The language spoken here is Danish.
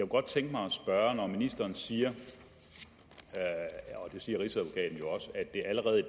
godt tænke mig at spørge når ministeren siger og det siger rigsadvokaten jo også at det allerede i